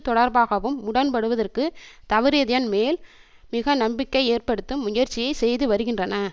தொடர்பாகவும் உடன்படுதற்கு தவறியதன்மேல் மிக நம்பிக்கை ஏற்படுத்தும் முயற்சியை செய்து வருகின்றன